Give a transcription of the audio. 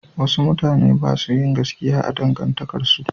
Wasu mutane ba su yin gaskiya a cikin dangantakarsu.